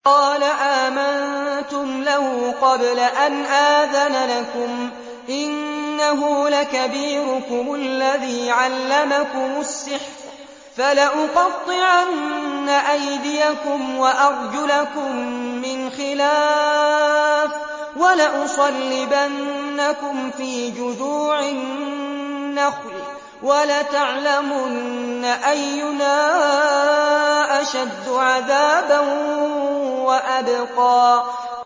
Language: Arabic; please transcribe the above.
قَالَ آمَنتُمْ لَهُ قَبْلَ أَنْ آذَنَ لَكُمْ ۖ إِنَّهُ لَكَبِيرُكُمُ الَّذِي عَلَّمَكُمُ السِّحْرَ ۖ فَلَأُقَطِّعَنَّ أَيْدِيَكُمْ وَأَرْجُلَكُم مِّنْ خِلَافٍ وَلَأُصَلِّبَنَّكُمْ فِي جُذُوعِ النَّخْلِ وَلَتَعْلَمُنَّ أَيُّنَا أَشَدُّ عَذَابًا وَأَبْقَىٰ